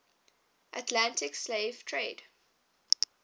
atlantic slave trade